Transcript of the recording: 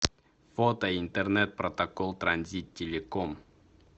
фото интернет протокол транзит телеком